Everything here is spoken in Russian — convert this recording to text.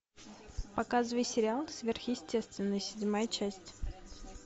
показывай сериал сверхъестественное седьмая часть